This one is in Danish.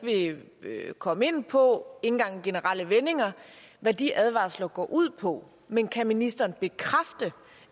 ikke vil komme ind på engang i generelle vendinger hvad de advarsler går ud på men kan ministeren bekræfte